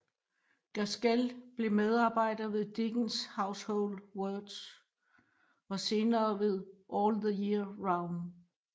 Gaskell blev medarbejder ved Dickens Household Words og senere ved All the Year round